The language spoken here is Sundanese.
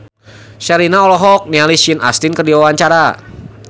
Sherina olohok ningali Sean Astin keur diwawancara